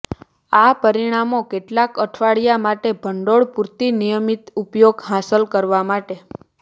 આ પરિણામો કેટલાંક અઠવાડિયા માટે ભંડોળ પૂરતી નિયમિત ઉપયોગ હાંસલ કરવા માટે